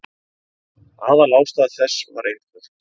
Aðalástæða þess var einföld.